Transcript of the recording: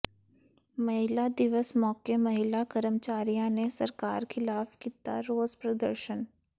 ਮਹਿਲਾ ਦਿਵਸ ਮੌਕੇ ਮਹਿਲਾ ਕਰਮਚਾਰੀਆਂ ਨੇ ਸਰਕਾਰ ਖਿਲਾਫ਼ ਕੀਤਾ ਰੋਸ ਪ੍ਰਦਰਸ਼ਨ